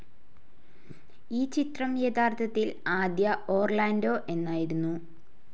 ഈ ചിത്രം യഥാർത്ഥത്തിൽ ആദ്യ ഓർലാൻഡോ എന്നായിരുന്നു.